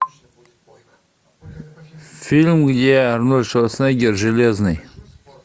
фильм где арнольд шварценеггер железный